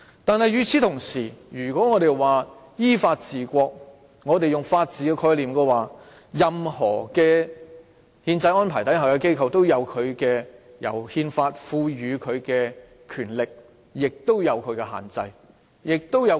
但是，與此同時，我們說依法治國，從法治的概念來看，任何憲制中的機構都有由憲法賦予的權力，但同時受其限制及約束。